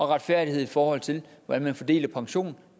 retfærdighed i forhold til hvordan man fordeler pension